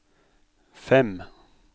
fem